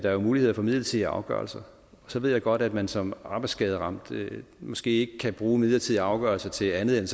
er mulighed for midlertidige afgørelser så ved jeg godt at man som arbejdsskaderamt måske ikke kan bruge en midlertidig afgørelse til andet end